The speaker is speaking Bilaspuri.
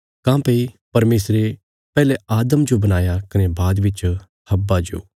काँह्भई परमेशरे पैहले आदम जो बणाया कने बाद बिच हव्वा जो